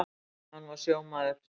Hann var sjómaður.